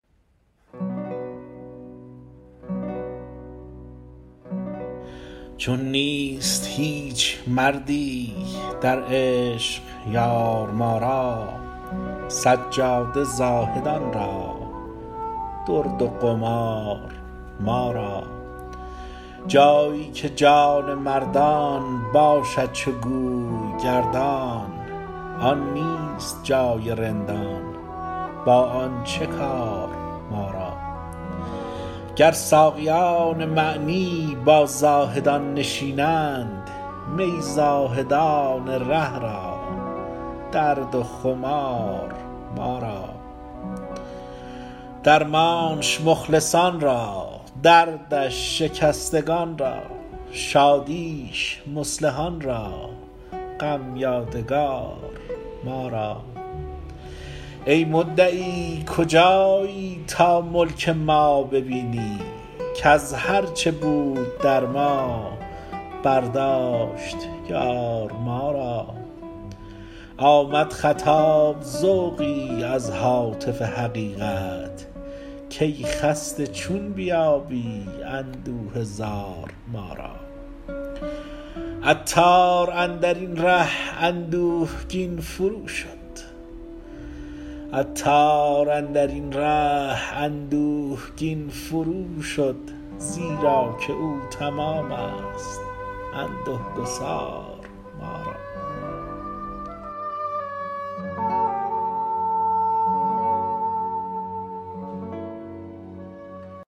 چون نیست هیچ مردی در عشق یار ما را سجاده زاهدان را درد و قمار ما را جایی که جان مردان باشد —چو گوی— گردان آن نیست جای رندان با آن چه کار ما را گر ساقیان معنی با زاهدان نشینند می زاهدان ره را درد و خمار ما را درمانش مخلصان را دردش شکستگان را شادیش مصلحان را غم یادگار ما را ای مدعی کجایی تا ملک ما ببینی کز هرچه بود در ما برداشت —یار— ما را آمد خطاب ذوقی از هاتف حقیقت کای خسته چون بیابی اندوه زار ما را عطار اندرین ره اندوهگین فروشد زیراکه او —تمام است— انده گسار ما را